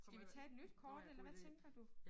Skal vi tage et nyt kort eller hvad tænker du?